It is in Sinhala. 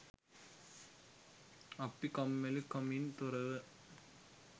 අපි කම්මැලිකමින් තොරව